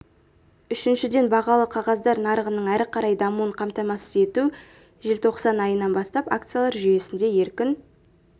үшіншіден бағалы қағаздар нарығының әрі қарай дамуын қамтамасыз ету желтоқсан айынан бастап акциялар жүйесінде еркін